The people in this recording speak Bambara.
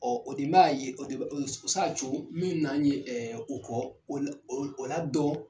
o de b'a ye o sa co min na ye o kɔ o la dɔn.